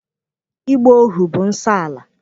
Ịgba ohu bụ nsọala.